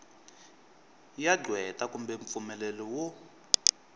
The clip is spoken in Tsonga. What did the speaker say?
ya qweta kumbe mpfumelelo wo